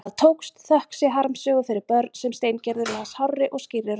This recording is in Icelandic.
Það tókst, þökk sé harmsögu fyrir börn sem Steingerður las hárri og skýrri röddu.